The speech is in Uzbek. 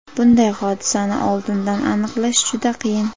Bunday hodisani oldindan aniqlash juda qiyin.